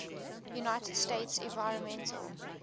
united states environmental